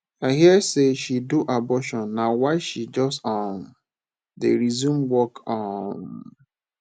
i hear say she do abortion na why she just um dey resume work um